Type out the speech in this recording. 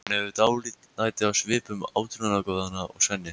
Hún hefur dálæti á svipuðum átrúnaðargoðum og Svenni.